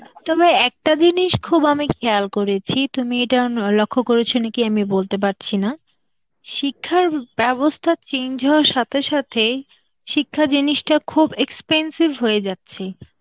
তবে একটা জিনিস খুব আমি খেয়াল করেছি, তুমি এটা উম লক্ষ্য করেছ নাকি আমি বলতে পারছি না, শিক্ষার বা~ ব্যবস্থা change হওয়ার সাথে সাথে, শিক্ষা জিনিসটা খুব expensive হয়ে যাচ্ছে.